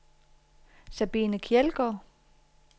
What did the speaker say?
Sabine Kjeldgaard